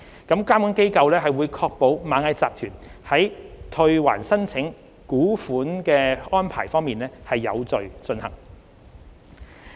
監管機構會確保螞蟻集團在退還申請股款的安排有序進行。